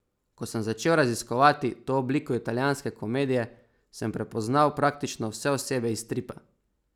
Ko sem začel raziskovati to obliko italijanske komedije, sem prepoznal praktično vse osebe iz stripa.